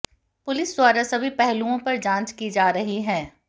police द्वारा सभी पहलुआंे पर जांच की जा रही है